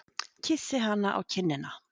Kyssi hana á kinnina.